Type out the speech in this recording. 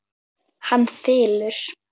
Hann þylur